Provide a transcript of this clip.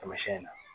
Tamasiyɛn